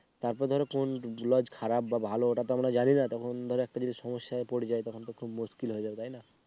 তারপর ধরো কোন লজ খারাপ বা ভালো ওটা তো আমরা জানি না তখন ধরো একটা যদি সমস্যায় পড়ে যায় তখন তো খুব মুশকিল হয়ে যাবে তাই না